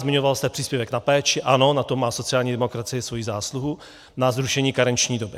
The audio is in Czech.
Zmiňovala jste příspěvek na péči, ano, na tom má sociální demokracie svoji zásluhu, na zrušení karenční doby.